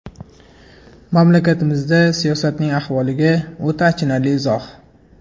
Mamlakatimizda siyosatning ahvoliga o‘ta achinarli izoh.